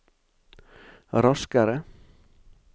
raskere